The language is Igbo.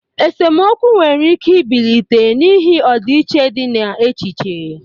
Esemokwu nwere ike ibilite n'ihi ọdịiche dị na echiche.